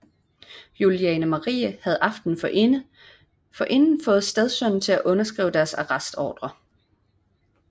Juliane Marie havde aftenen forinden fået stedsønnen til at underskrive deres arrestordrer